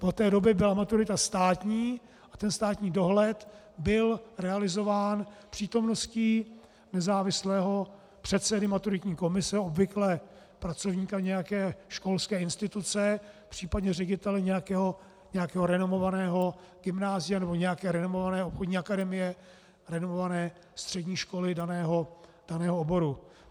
Od té doby byla maturita státní a ten státní dohled byl realizován přítomností nezávislého předsedy maturitní komise, obvykle pracovníka nějaké školské instituce, případně ředitele nějakého renomovaného gymnázia nebo nějaké renomované obchodní akademie, renomované střední školy daného oboru.